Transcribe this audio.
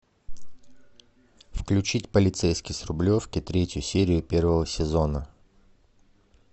включить полицейский с рублевки третью серию первого сезона